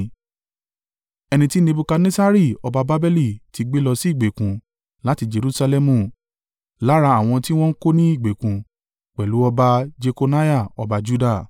ẹni tí Nebukadnessari ọba Babeli ti gbé lọ sí ìgbèkùn láti Jerusalẹmu, lára àwọn tí wọ́n kó ní ìgbèkùn pẹ̀lú ọba Jekoniah ọba Juda.